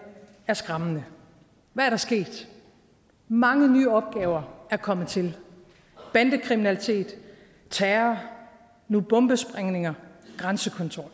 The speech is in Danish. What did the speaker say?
er skræmmende hvad er der sket mange nye opgaver er kommet til bandekriminalitet terror nu bombesprængninger grænsekontrol